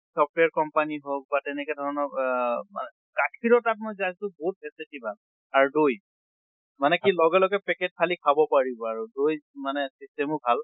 software company হওঁল বা তেনেকে ধৰণৰ এহ মা গাখীৰত আপোনাৰ তাত টো বিহুত facility ভাল। আৰু দৈ মানে কি লগে লগে packet ফালি খাব পাৰিব আৰু দৈ মানে system ও ভাল।